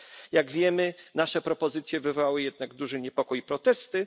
Jak wiemy nasze propozycje wywołały jednak duży niepokój i protesty.